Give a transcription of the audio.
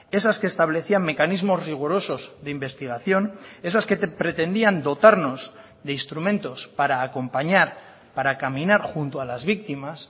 esas que establecían mecanismos rigurosos de investigación esas que pretendían dotarnos de instrumentos para acompañar para caminar junto a las víctimas